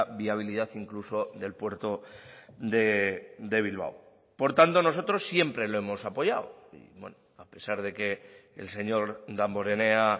viabilidad incluso del puerto de bilbao por tanto nosotros siempre lo hemos apoyado a pesar de que el señor damborenea